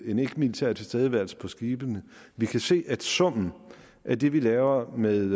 en ikkemilitær tilstedeværelse på skibene vi kan se at summen af det vi laver med